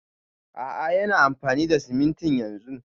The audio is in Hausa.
A'a yana amfani da simintin yanzun